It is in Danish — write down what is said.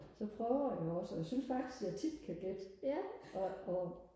så prøver jeg jo også og jeg synes faktisk at jeg tit kan gætte og og